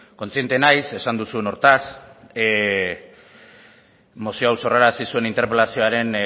kontziente naiz esan duzun horretaz mozio hau sorrarazi zuen interpelazioaren